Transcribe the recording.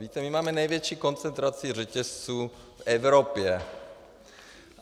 Víte, my máme největší koncentraci řetězců v Evropě.